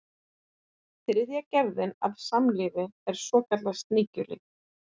þriðja gerðin af samlífi er svokallað sníkjulíf